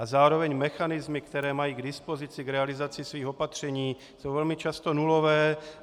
A zároveň mechanismy, které mají k dispozici k realizaci svých opatření, jsou velmi často nulové.